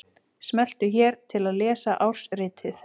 Smelltu hér til að lesa ársritið